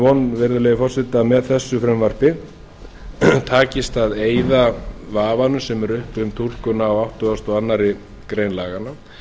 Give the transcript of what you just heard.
von virðulegi forseti að með þessu frumvarpi takist að eyða vafanum sem er uppi um túlkun á áttugasta og aðra grein laganna